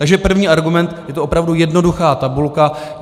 Takže první argument - je to opravdu jednoduchá tabulka.